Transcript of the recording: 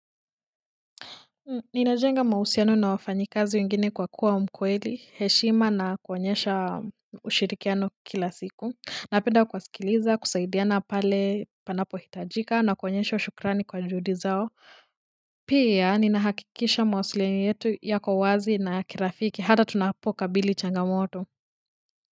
Ninajenga mahusiano na wafanyikazi wengine kwa kuwa mkweli, heshima na kuonyesha ushirikiano kila siku. Napenda kuwasikiliza, kusaidiana pale panapo hitajika na kuonyesha shukrani kwa juhudi zao. Pia, ninahakikisha mawasiliano yetu yako wazi na ya kirafiki. Hata tunapo kabili changamoto.